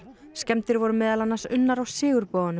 skemmdir voru meðal annars unnar á